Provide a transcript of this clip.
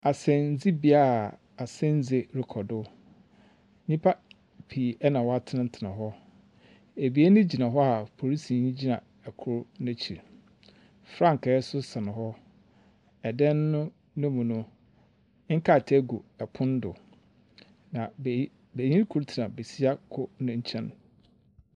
Asendzibea a asendzi rokɔ do. Nyimpa pii na wɔatsenatsena hɔ. Ebien gyina hɔ a polisini gyina kor n'ekyir. Frankaa nso sɛn hɔ. Dan no ne mu no, nkrataa gu pon do, na beyi benyin kor tsena besia kor ne nkyɛn.